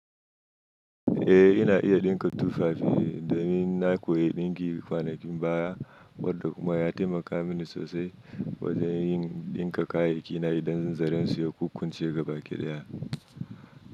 Eh ina iya ɗinka tufafi, domin na koyi ɗinki kwanakin baya, wanda kuma ya taimaka mini sosai wajen yin ɗinka kayyakina idan zaransu ya kukkunce ga baki ɗaya.